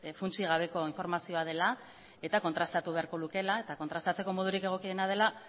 funtsik gabeko informazioa dela eta kontrastatu beharko lukeela eta kontrastatzeko modurik egokiena dela